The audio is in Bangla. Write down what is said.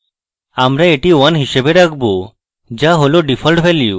আমরা এটি 1 হিসাবে রাখব যা হল ডিফল্ট মান